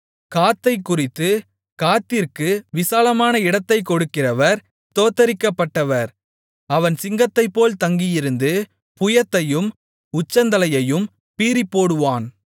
காத்தைக்குறித்து காத்திற்கு விசாலமான இடத்தைக் கொடுக்கிறவர் ஸ்தோத்திரிக்கப்பட்டவர் அவன் சிங்கத்தைப்போல் தங்கியிருந்து புயத்தையும் உச்சந்தலையையும் பீறிப்போடுவான்